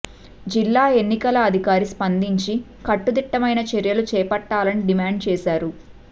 జిల్లా ఎన్నికల అధికారి స్పందించి కట్టుదిట్టమైన చర్యలు చేపట్టాలని డిమాండ్ చేశారు